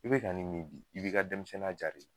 I bɛ ka nin min b'i ka denmisɛnninya ja